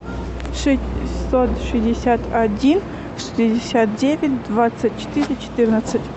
шестьсот шестьдесят один шестьдесят девять двадцать четыре четырнадцать